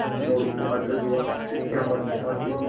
मोरू को अचरज हुआ शिक्षक क्या मदद चाहते होंगे